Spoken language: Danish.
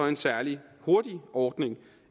en særlig hurtig ordning